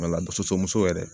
soso muso yɛrɛ